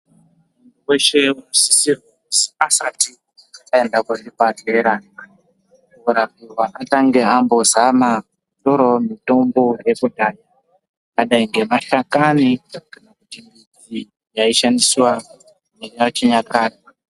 Muntu weshe unosise kuzi asati aende kuzvibhedhlera korapiwa, atange ambozama kutorawo mitombo yekudhaya, yakadai ngemahlakani, yaishandiswa neechinyakare.